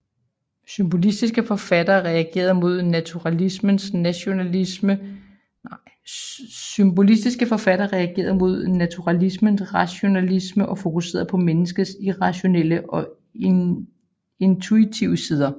Symbolistiske forfattere reagerede mod naturalismens rationalisme og fokuserede på menneskets irrationelle og intuitive sider